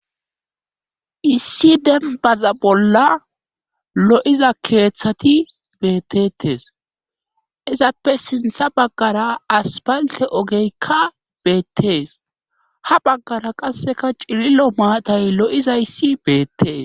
lssi denbaza bolla lo'iza keeththati beettetes izappe sintha baggara asbalte ogeykka beettees ha baggara qasseka cirilo maatay lo'izayssi beettees.